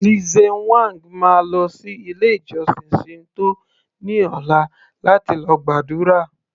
Lze whang máa lọ sí ilé ìjósìn Shinto ní ọ̀la láti lọ gbàdúrà